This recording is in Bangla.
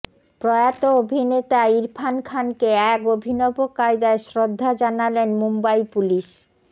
প্রয়াত অভিনেতা ইরফান খানকে এক অভিনব কায়দায় শ্রদ্ধা জানালেন মুম্বাই পুলিশ